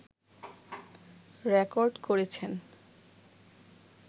record করেছেন